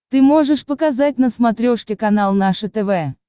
ты можешь показать на смотрешке канал наше тв